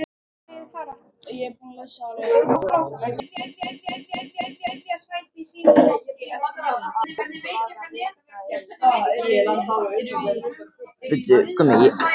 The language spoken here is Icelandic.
Alltíeinu verðum við þess áskynja að hann er týndur.